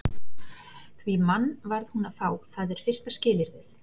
Því mann varð hún að fá, það er fyrsta skilyrðið.